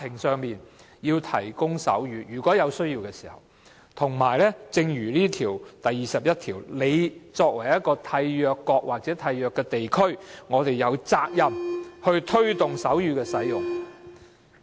正如《殘疾人權利公約》第二十一條所指，作為締約國或締約地區，我們有責任推動手語的使用。